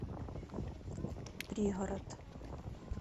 пригород